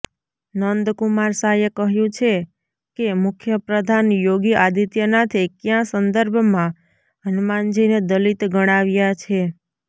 નંદકુમાર સાયે કહ્યુ છેકે મુખ્યપ્રધાન યોગી આદિત્યનાથે ક્યાં સંદર્ભમાં હનુમાનજીને દલિત ગણાવ્યા છે